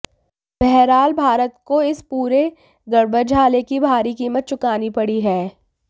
बहरहाल भारत को इस पूरे गड़बड़झाले की भारी कीमत चुकानी पड़ी है